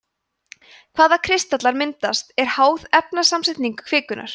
hvaða kristallar myndast er háð efnasamsetningu kvikunnar